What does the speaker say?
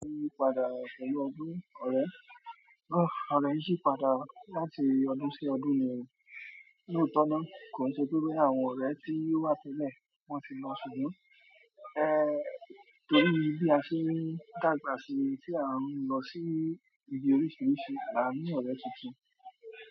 Ó yí padà pẹ̀lú ọdún, ọ̀rẹ́. Ọ̀rẹ́ ṣí padà láti ọdún sí ọdún ni ní ọ̀tọ̀ọ̀tọ̀ kì ń ṣe pé wípé àwọn ọ̀rẹ́ tí wá tẹ́lẹ̀ máa ti lọ síbẹ̀, eh torí bí a ṣe ń dàgbà sí tí à ń lọ sí ibi oríṣiríṣi, àwọn míì ọ̀rẹ́ ti tàn.